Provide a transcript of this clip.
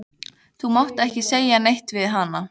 Þú mátt ekki segja neitt við hana.